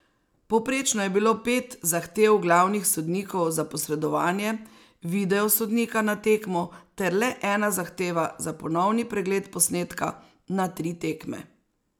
Povprečno je bilo pet zahtev glavnih sodnikov za posredovanje video sodnika na tekmo ter le ena zahteva za ponovni pregled posnetka na tri tekme.